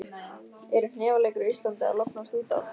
Eru hnefaleikar á Íslandi að lognast út af?